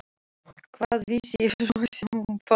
Hvað vissi ég svo sem um pabba?